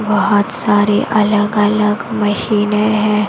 बहोत सारे अलग अलग मशीने हैं।